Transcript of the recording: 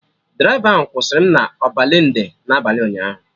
Draịva ahụ kwụsịrị m na Ọbalende n'abalị ụnyaahụ